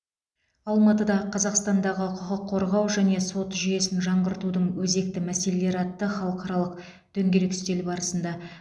алматыда қазақстандағы құқық қорғау және сот жүйесін жаңғыртудың өзекті мәселелері атты халықаралық дөңгелек үстел барысында